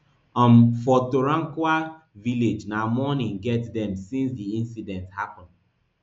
um for torankawa village na mourning get dem since di incident happen